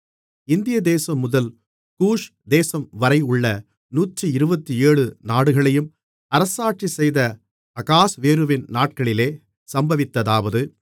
இந்திய தேசம் முதல் கூஷ் தேசம்வரையுள்ள 127 நாடுகளையும் அரசாட்சி செய்த அகாஸ்வேருவின் நாட்களிலே சம்பவித்ததாவது